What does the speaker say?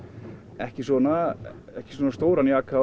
ekki svona ekki svona stóran jaka